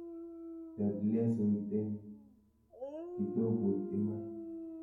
Tet lesoit eng kitokut iman.